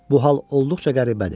Bu hal olduqca qəribədir.